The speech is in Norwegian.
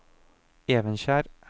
Evenskjer